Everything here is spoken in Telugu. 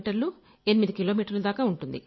కిలోమీటర్లు ఎనిమిది కిలోమీటర్లు